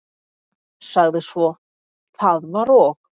Sagði svo: Það var og